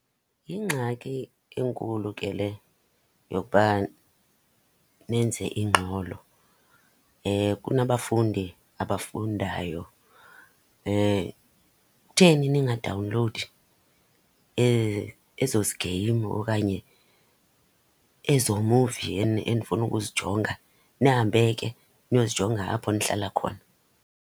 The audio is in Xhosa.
Yingxaki enkulu ke le yokuba nenze ingxolo, kunabafundi abafundayo. Kutheni ningadawunlowudi ezozi game okanye ezo muvi enifuna ukuzijonga, nihambe ke niyozijonga apho nihlala khona?